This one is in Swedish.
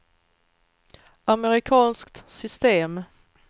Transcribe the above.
amerikanskt system